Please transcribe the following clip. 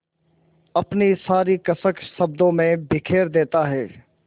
अपनी सारी कसक शब्दों में बिखेर देता है